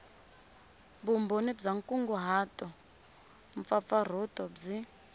vumbhoni bya nkunguhato mpfapfarhuto byi